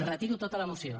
retiro tota la moció